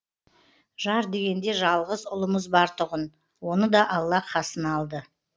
жар дегенде жалғыз ұлымыз бар тұғын оны да алла қасына алды